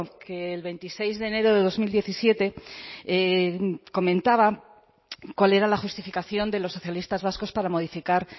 que el veintiséis de enero de dos mil diecisiete comentaba cuál era la justificación de los socialistas vascos para modificar